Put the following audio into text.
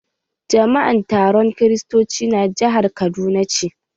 Jama'an taron kristoci na jahar kaduna ce.